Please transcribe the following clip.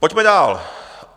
Pojďme dál.